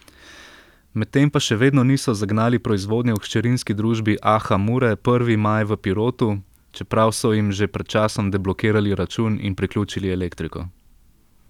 Med tem pa še vedno niso zagnali proizvodnje v hčerinski družbi Aha Mure Prvi maj v Pirotu, čeprav so jim že pred časom deblokirali račun in priključili elektriko.